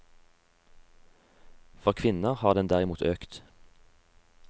For kvinner har den derimot økt.